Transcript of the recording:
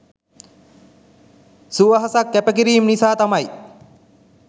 සුවහසක් කැපකිරීම් නිසා තමයි